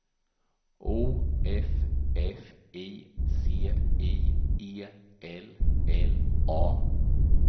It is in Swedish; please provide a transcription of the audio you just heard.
O F F I C I E L L A